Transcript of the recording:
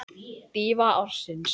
Dýfa ársins?